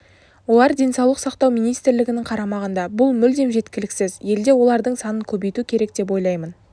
олар денсаулық сақтау министрлігінің қарамағында бұл мүлдем жеткіліксіз елде олардың санын көбейту керек деп ойлаймын